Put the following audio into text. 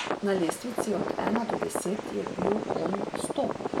Na lestvici od ena do deset je bil on sto.